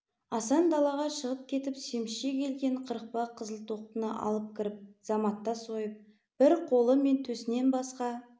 асан далаға шығып кетіп семізше келген қырықпа қызыл тоқтыны алып кіріп заматта сойып бір қолы мен төсінен басқа